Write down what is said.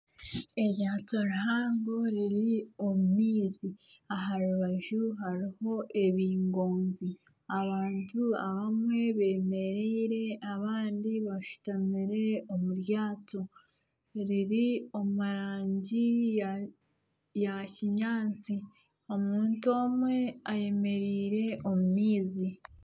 Eryato rihango riri omu maizi, aha rubaju hariho ebingoozi, abantu abamwe beemereire abandi bashutamire omu ryato riri omurangi ya kinyaatsi omuntu omwe ayemereire omu maizi